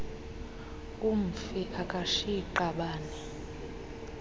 umfi akashiyi qabane